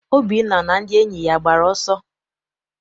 Obinna na ndị enyi ya agbara ọsọ?